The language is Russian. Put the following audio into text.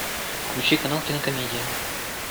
включи канал кинокомедия